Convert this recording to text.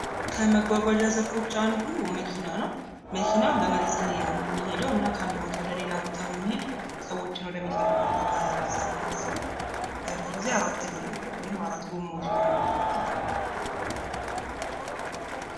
ከመጓጓዣ ዘርፎች ውስጥ አንዱ መኪና ነው መኪና በመሬት ላይ ነው የሚሄደውና ከአንድ ቦታ ወደሌላ ቦታ